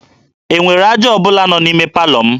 E nwere aja ọ bụla nọ n'ime palọ m?